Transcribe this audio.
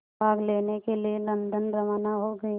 भाग लेने के लिए लंदन रवाना हो गए